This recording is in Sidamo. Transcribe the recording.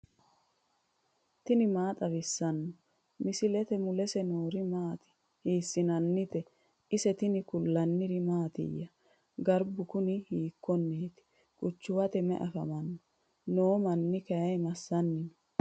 tini maa xawissanno misileeti ? mulese noori maati ? hiissinannite ise ? tini kultannori mattiya? Garibbu kuni hikkiho? Qachuwatte mayi affamanni noo ? Mannu Kay massanni nooho?